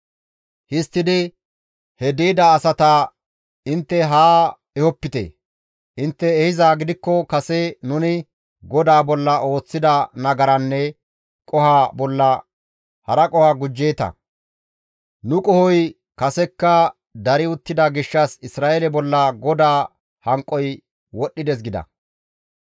Histtidi, «He di7ida asata intte haa ehopite! intte ehizaa gidikko kase nuni GODAA bolla ooththida nagaranne qoho bolla hara qoho gujjeeta; nu qohoy kasekka dari uttida gishshas Isra7eele bolla GODAA hanqoy wodhdhides» gida.